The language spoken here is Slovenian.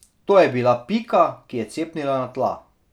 To je bila Pika, ki je cepnila na tla.